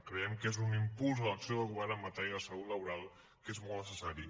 creiem que és un impuls a l’acció de govern en matèria de salut laboral que és molt necessari